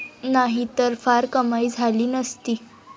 नाहीतर फार कमाई झाली नसती.